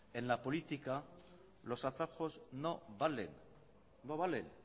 en la política los atajos no valen no valen